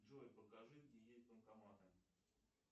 джой покажи где есть банкоматы